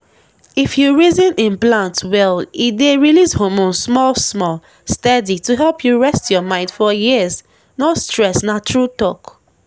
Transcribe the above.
if you reason implant well e dey release hormone small-small steady to help you rest your mind for years — no stress na true talk.